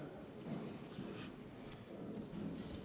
Istungi lõpp kell 16.09.